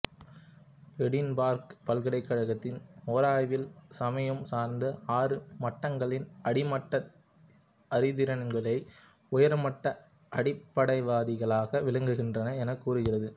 Edinburgh பல்கலைக்கழகம் ஓராய்வில் சமயம் சார்ந்த ஆறு மட்டங்களில் அடிமட்ட அறிதிறனாளிகளே உயர்மட்ட அடிப்படைவாதிகளாக விளங்குகின்றனர் எனக் கூறுகிறது